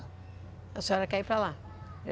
A senhora quer ir para lá?